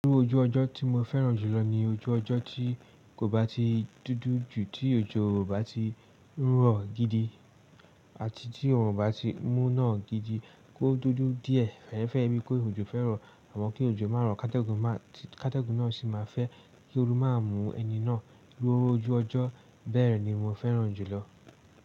Irú ojú ọjọ́ tí mo fẹ́ràn jùlọ ni ojú ọjọ́ tí kò bá ti dúdú jù, tí òjò ò bá ti rọ̀ gidi àti tí òòrùn bá ti mú ná gidi kó dúdú díẹ̀. Fẹ́ẹ́rẹ́ fẹ́ bí kó ojò fẹ́ro àmọ kí ojò má ro kátégùn má kátégùn náà sì má fẹ́ kí oòrù má mú ẹni náà. Irú ojú ọjọ́ bẹ́ẹ̀ ni mo fẹ́ràn jùlọ.